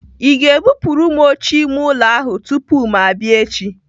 Ị ga-ebupuru m oche ime ụlọ ahụ tupu ma abịa echi?